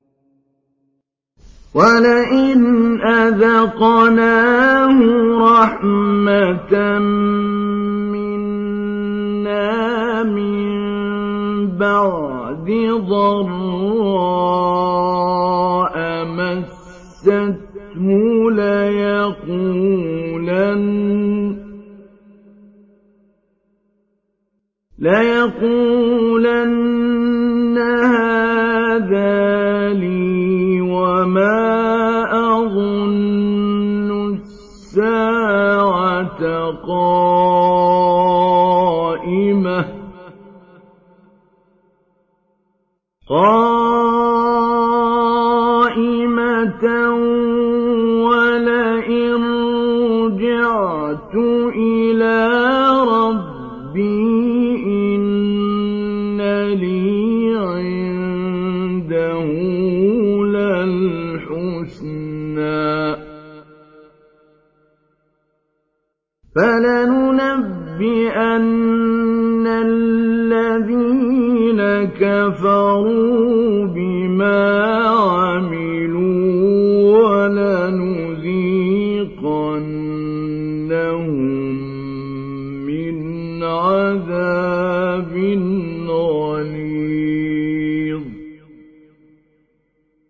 وَلَئِنْ أَذَقْنَاهُ رَحْمَةً مِّنَّا مِن بَعْدِ ضَرَّاءَ مَسَّتْهُ لَيَقُولَنَّ هَٰذَا لِي وَمَا أَظُنُّ السَّاعَةَ قَائِمَةً وَلَئِن رُّجِعْتُ إِلَىٰ رَبِّي إِنَّ لِي عِندَهُ لَلْحُسْنَىٰ ۚ فَلَنُنَبِّئَنَّ الَّذِينَ كَفَرُوا بِمَا عَمِلُوا وَلَنُذِيقَنَّهُم مِّنْ عَذَابٍ غَلِيظٍ